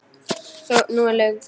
Nú er löng þögn.